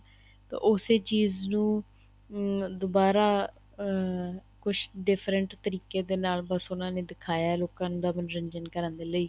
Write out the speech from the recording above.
ਤਾਂ ਉਸੇ ਚੀਜ਼ ਨੂੰ ਦੁਬਾਰਾ ਅਹ ਕੁੱਛ different ਤਰੀਕੇ ਦੇ ਨਾਲ ਬੱਸ ਉਹਨਾ ਨੇ ਦਿਖਾਇਆ ਹੈ ਲੋਕਾਂ ਦਾ ਮੰਨੋਰੰਜਨ ਕਰਨ ਦੇ ਲਈ